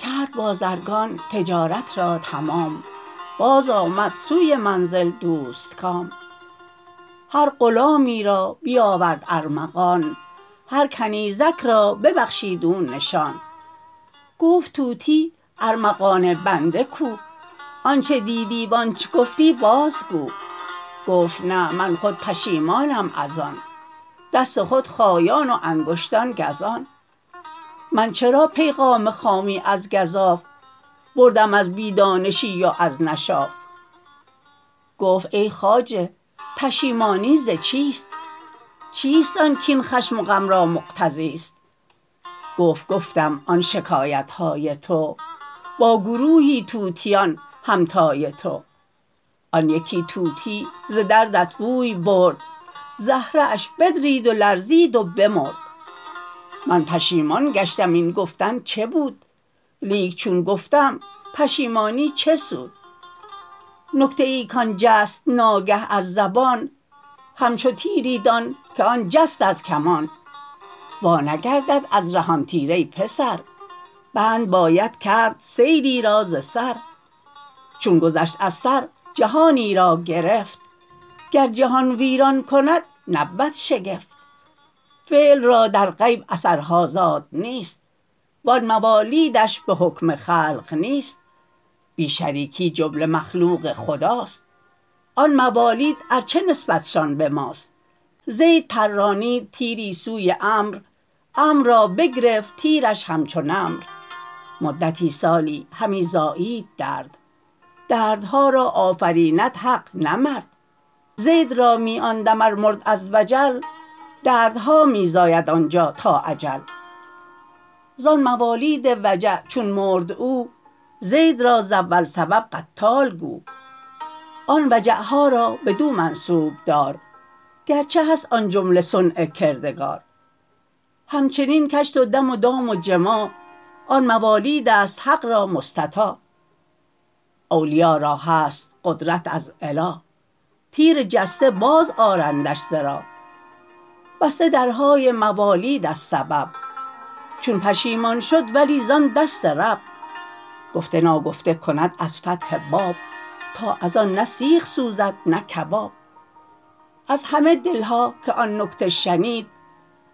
کرد بازرگان تجارت را تمام باز آمد سوی منزل دوستکام هر غلامی را بیاورد ارمغان هر کنیزک را ببخشید او نشان گفت طوطی ارمغان بنده کو آنچ دیدی و آنچ گفتی بازگو گفت نه من خود پشیمانم از آن دست خود خایان و انگشتان گزان من چرا پیغام خامی از گزاف بردم از بی دانشی و از نشاف گفت ای خواجه پشیمانی ز چیست چیست آن کاین خشم و غم را مقتضی ست گفت گفتم آن شکایت های تو با گروهی طوطیان همتای تو آن یکی طوطی ز دردت بوی برد زهره اش بدرید و لرزید و بمرد من پشیمان گشتم این گفتن چه بود لیک چون گفتم پشیمانی چه سود نکته ای کان جست ناگه از زبان همچو تیری دان که آن جست از کمان وا نگردد از ره آن تیر ای پسر بند باید کرد سیلی را ز سر چون گذشت از سر جهانی را گرفت گر جهان ویران کند نبود شگفت فعل را در غیب اثرها زادنی ست و آن موالید ش به حکم خلق نیست بی شریکی جمله مخلوق خداست آن موالید ار چه نسبتشان به ماست زید پرانید تیری سوی عمر عمر را بگرفت تیرش همچو نمر مدت سالی همی زایید درد دردها را آفریند حق نه مرد زید را می آن دم ار مرد از وجل دردها می زاید آنجا تا اجل زان موالید وجع چون مرد او زید را ز اول سبب قتال گو آن وجع ها را بدو منسوب دار گرچه هست آن جمله صنع کردگار همچنین کشت و دم و دام و جماع آن موالیدست حق را مستطاع اولیا را هست قدرت از اله تیر جسته باز آرندش ز راه بسته درهای موالید از سبب چون پشیمان شد ولی زان دست رب گفته ناگفته کند از فتح باب تا از آن نه سیخ سوزد نه کباب از همه دل ها که آن نکته شنید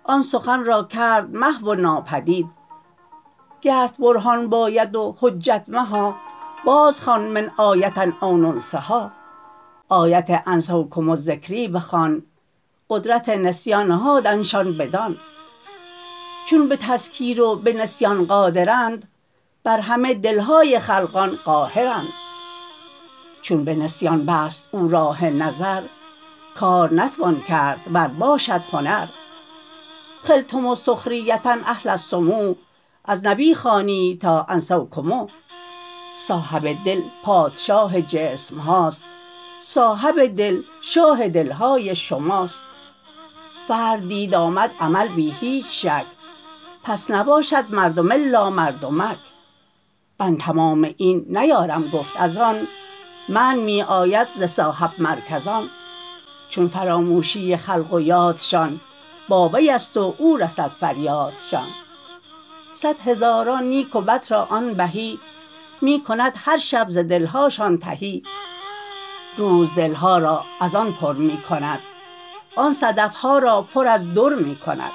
آن سخن را کرد محو و ناپدید گرت برهان باید و حجت مها بازخوان من آیة او ننسها آیت انسوکم ذکری بخوان قدرت نسیان نهادنشان بدان چون به تذکیر و به نسیان قادرند بر همه دل های خلقان قاهرند چون به نسیان بست او راه نظر کار نتوان کرد ور باشد هنر خلتم سخریة اهل السمو از نبی خوانید تا انسوکم صاحب ده پادشاه جسم هاست صاحب دل شاه دلهای شماست فرع دید آمد عمل بی هیچ شک پس نباشد مردم الا مردمک من تمام این نیارم گفت از آن منع می آید ز صاحب مرکزان چون فراموشی خلق و یادشان با وی ست و او رسد فریادشان صد هزاران نیک و بد را آن بهی می کند هر شب ز دل هاشان تهی روز دل ها را از آن پر می کند آن صدف ها را پر از در می کند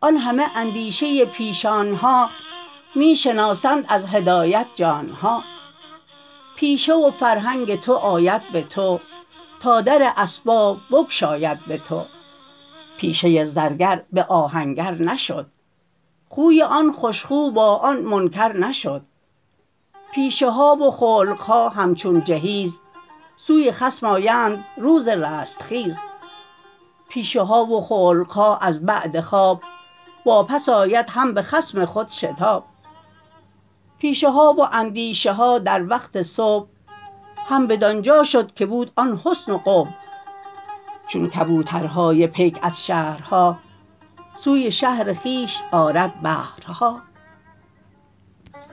آن همه اندیشه پیشانها می شناسند از هدایت جانها پیشه و فرهنگ تو آید به تو تا در اسباب بگشاید به تو پیشه زرگر به آهنگر نشد خوی این خوش خو با آن منکر نشد پیشه ها و خلق ها همچون جهاز سوی خصم آیند روز رستخیز پیشه ها و خلق ها از بعد خواب واپس آید هم به خصم خود شتاب پیشه ها و اندیشه ها در وقت صبح هم بدانجا شد که بود آن حسن و قبح چون کبوترهای پیک از شهرها سوی شهر خویش آرد بهرها